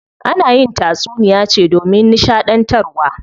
Ana yin tatsuniya ce domin nishaɗantarwa.